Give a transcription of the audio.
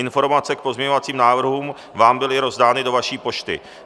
Informace k pozměňovacím návrhům vám byly rozdány do vaší pošty.